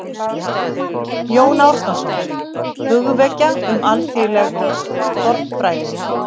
Jón Árnason: Hugvekja um alþýðleg fornfræði